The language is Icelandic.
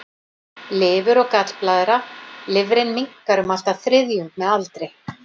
Lifur og gallblaðra Lifrin minnkar um allt að þriðjung með aldri.